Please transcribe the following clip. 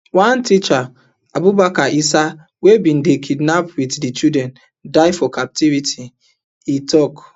one teacher abubakar issa wey bin dey kidnapped wit di children die for captivity e tok